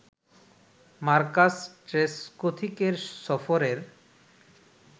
Marcus ট্রেসকোথিকের সফরের